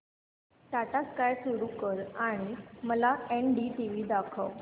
Tata Sky सुरू कर आणि मला एनडीटीव्ही दाखव